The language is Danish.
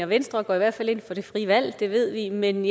venstre går i hvert fald ind for det frie valg det ved vi men